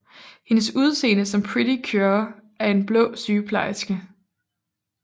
Hendes udseende som Pretty Cure er en blå sygeplejeske